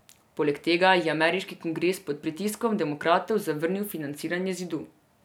Poleg tega je ameriški kongres pod pritiskom demokratov zavrnil financiranje zidu.